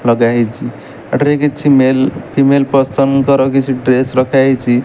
ଲଗା ହେଇଛି ଏଠାରେ କିଛି ମେଲ୍ ଫିମେଲ ପର୍ସନ ଙ୍କର କିଛି ଡ୍ରେସ୍ ରଖା ହେଇଛି।